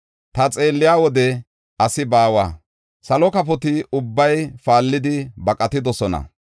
Ta xeelliya wode asi baawa; salo kafoti ubbay paallidi baqatidosona.